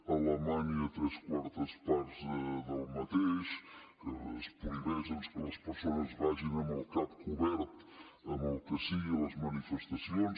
a alema nya tres quartes parts del mateix que es prohibeix doncs que les persones vagin amb el cap cobert amb el que sigui a les manifestacions